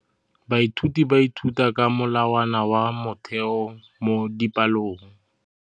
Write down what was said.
Baithuti ba ithuta ka molawana wa motheo mo dipalong.